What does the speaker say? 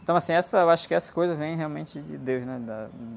Então, assim, acho que essas coisas vêm realmente de Deus, né? Da...